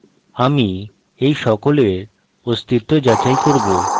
আমি এই সকলের অস্তিত্ব যাচাই করব